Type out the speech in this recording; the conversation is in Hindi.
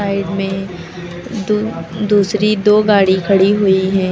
आइड में दू दूसरी दो गाड़ी खड़ी हुई हैं।